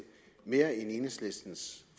mere end enhedslistens